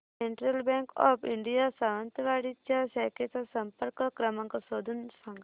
central Bank of India Sawantwadi च्या शाखेचा संपर्क क्रमांक शोधून सांग